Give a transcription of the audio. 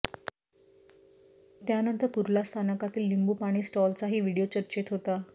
त्यानंतर कुर्ला स्थानकातील लिंबू पाणी स्टॉलचाही व्हिडिओ चर्चेत होता